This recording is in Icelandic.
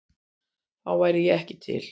Þá væri ég ekki til?